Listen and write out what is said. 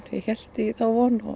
ég hélt í þá von og